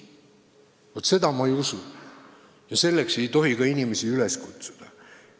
Vaat seda ma ei usu ja selleks ei tohi ka inimesi üles kutsuda.